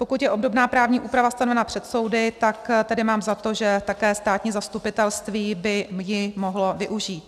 Pokud je obdobná právní úprava stanovena před soudy, tak tedy mám za to, že také státní zastupitelství by ji mohlo využít.